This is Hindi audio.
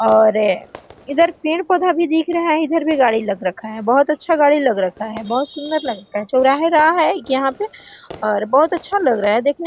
और इधर पेड़-पौधा भी दिख रहा है इधर गाड़ी लग रखा है बहुत अच्छा गाड़ी लग रखा हैं बहुत सुन्दर लग रखा है चौराहा गया है एक यहाँ पे और बहुत अच्छा लग रहा है देखने में --